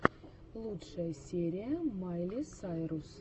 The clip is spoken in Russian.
лучшая серия майли сайрус